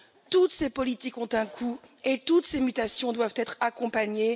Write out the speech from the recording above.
Toutes ces politiques ont un coût et toutes ces mutations doivent être accompagnées.